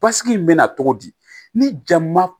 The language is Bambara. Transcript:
Basigi in bɛ na cogo di ni jama